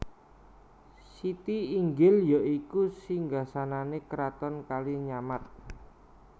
Siti Inggil ya iku Singgasanane Kraton Kalinyamat